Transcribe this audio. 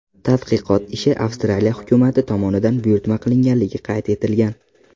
Tadqiqot ishi Avstraliya hukumati tomonidan buyurtma qilinganligi qayd etilgan.